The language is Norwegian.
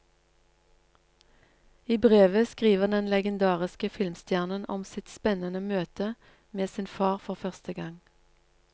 I brevet skriver den legendariske filmstjernen om sitt spennende møte med sin far for første gang.